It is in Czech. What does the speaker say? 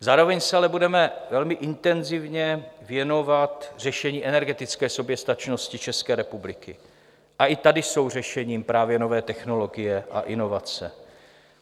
Zároveň se ale budeme velmi intenzivně věnovat řešení energetické soběstačnosti České republiky a i tady jsou řešením právě nové technologie a inovace.